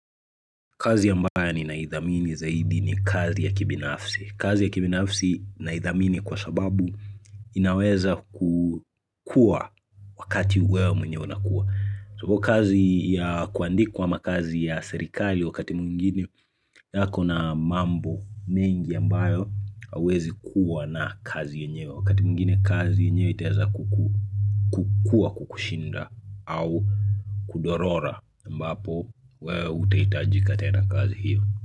Kazi ambaye nina idhamini zaidi ni kazi ya kibinafsi. Kazi ya kibinafsi naidhamini kwa sababu inaweza kukua wakati wewe mwenye unakua. So kazi ya kuandikwa makazi ya serikali wakati mwngine hua kuna mambo mengi ambayo hauwezi kuwa na kazi yenyeo. Wakati mwngine kazi yenyeo kazi yenyewe itaweza kuku kukua kuku shinda au kudorora ambapo wewe utahitajika tena kazi hiyo.